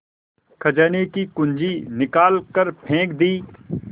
खजाने की कुन्जी निकाल कर फेंक दी